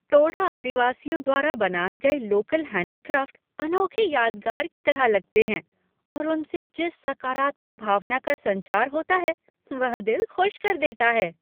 टोडा आदिवासियों द्वारा बनाए गए लोकल हैंडीक्राफ्ट अनोखे यादगार की तरह लगते हैं और उनसे जिस सकारात्मक भावना का संचार होता है वह दिल खुश कर देता है।